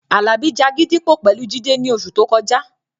Àlàbí ja gídígbò pẹ̀lú Jídé ní oṣù tó kọjá